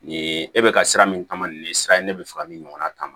Nin ye e bɛ ka sira min kama nin ye sira in ye ne bɛ fɛ ka min ɲɔgɔnna kama